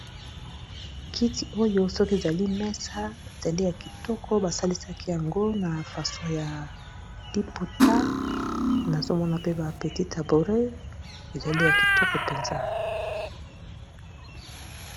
kiti oyo soki ezali mesa ezali ya kitoko basalesaki yango na faso ya liputa nazomona pe bapetit tabouret ezali ya kitoko mpenza